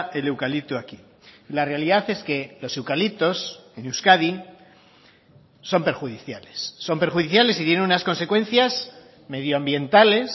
el eucalipto aquí la realidad es que los eucaliptos en euskadi son perjudiciales son perjudiciales y tienen unas consecuencias medioambientales